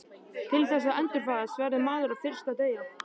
Til þess að endurfæðast verður maður fyrst að deyja.